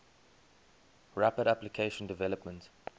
rapid application development